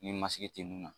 Ni masigi tɛ nin na